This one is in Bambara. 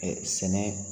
Ɛɛ sɛnɛ